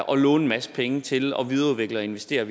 og låne en masse penge til at videreudvikle og investere